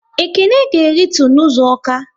Ekene ga e ritu n' ụzọ Awka